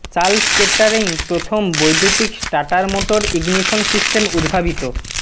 Charles Kettering প্রথম বৈদ্যুতিক starter motor ignition system উদ্ভাবিত